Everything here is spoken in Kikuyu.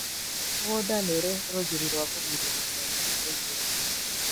Mũgũnda nĩũrĩ rũgiri rwa kũgirĩrĩria nyamũ kũingĩra